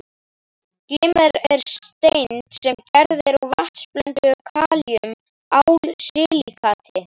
Glimmer er steind sem gerð er úr vatnsblönduðu kalíum-ál-silíkati